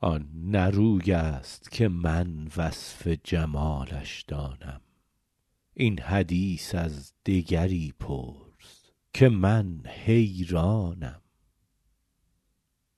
آن نه روی است که من وصف جمالش دانم این حدیث از دگری پرس که من حیرانم